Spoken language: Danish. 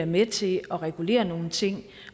med til at regulere nogle ting